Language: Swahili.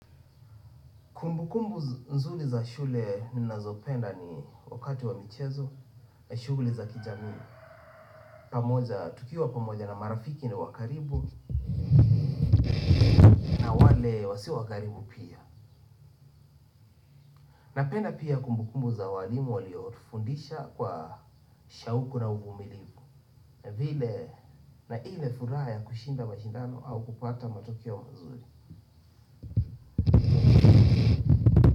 Kumbukumbu nzuri za shule ninazopenda ni wakati wa michezo, shughuli za kijamii, pamoja tukiwa pamoja na marafiki na wa karibu, na wale wasio wa karibu pia napenda pia kumbukumbu za walimu waliotufundisha kwa shauku na uvumilivu vile na hii ni furaha ya kushinda mashindano au kupata matokeo mazuri.